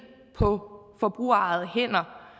på forbrugerejede hænder